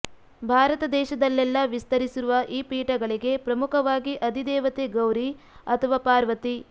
ಭಾರತ ದೇಶದಲ್ಲೆಲ್ಲ ವಿಸ್ತರಿಸಿರುವ ಈ ಪೀಠಗಳಿಗೆ ಪ್ರಮುಖವಾಗಿ ಅಧಿ ದೇವತೆ ಗೌರಿ ಅಥವಾ ಪಾರ್ವತಿ